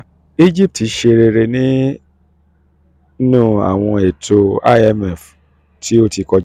um egypt ti ṣe egypt ti ṣe rere ninu awọn eto cs] imf ti um o ti kọja.